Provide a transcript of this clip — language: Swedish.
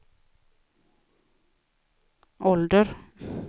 ålder